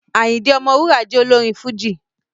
Àyìndé Ọmọwúrà jẹ́ olórin Fújì